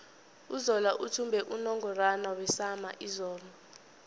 uzola uthumbe unungorwana wesama izolo